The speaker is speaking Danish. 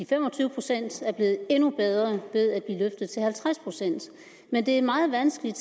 fem og tyve procent er blevet endnu bedre ved at blive løftet til halvtreds procent men det er meget vanskeligt